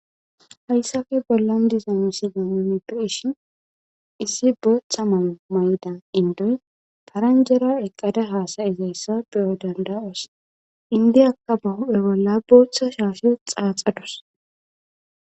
Hayssafe bollan dizano sinamimetirishin issi booththa malo may7da indoy faranjera eqqada haasayizayssa beyo danda7os indiyakka bahuphe bolla booththa shaafiyo xaaxadus.